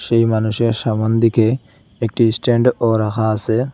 সেই মানুষের সামোন দিকে একটি স্ট্যান্ড -ও রাখা আসে।